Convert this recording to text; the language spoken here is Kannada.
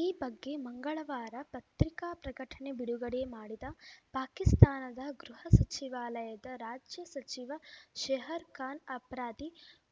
ಈ ಬಗ್ಗೆ ಮಂಗಳವಾರ ಪತ್ರಿಕಾ ಪ್ರಕಟಣೆ ಬಿಡುಗಡೆ ಮಾಡಿದ ಪಾಕಿಸ್ತಾನದ ಗೃಹ ಸಚಿವಾಲಯದ ರಾಜ್ಯ ಸಚಿವ ಶೆಹರ್‌ಖಾನ್‌ ಅಪ್ರಾದಿ